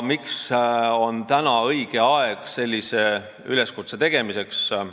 Miks on õige aeg sellise üleskutse tegemiseks?